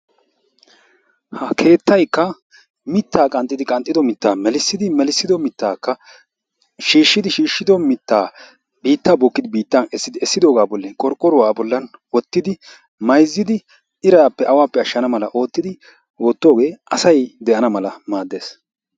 ha keettayikka mittaa qanxxidi qanxxido mittaa melissidi melissido mittaakka shiishshidi shiishshido mittaa biittaa bookkidi biitan eessidi eessidoogaa bolli qorqqoruwaa a bollan woottidi maayizidi iraappe awaappe ashshana mala ottidi ottoogee asay de'ana mala maaddees.